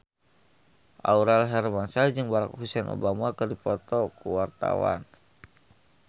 Aurel Hermansyah jeung Barack Hussein Obama keur dipoto ku wartawan